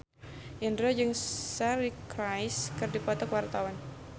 Indro jeung Suri Cruise keur dipoto ku wartawan